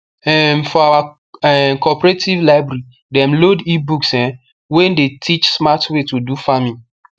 um for our um cooperative library dem load ebooks um wey dey teach smart way to do farming